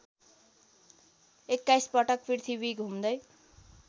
२१ पटक पृथ्वी घुम्दै